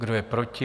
Kdo je proti?